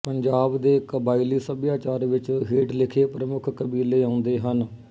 ਪੰਜਾਬ ਦੇ ਕਬਾਇਲੀ ਸੱਭਿਆਚਾਰ ਵਿੱਚ ਹੇਠ ਲਿਖੇ ਪ੍ਮੁੱਖ ਕਬੀਲੇ ਆਉਂਦੇ ਹਨ